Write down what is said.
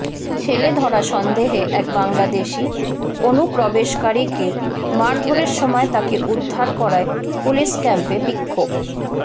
ছেলেধরা সন্দেহে এক বাংলাদেশি অনুপ্রবেশকারীকে মারধরের সময় তাকে উদ্ধার করায় পুলিশ ক্যাম্পে বিক্ষোভ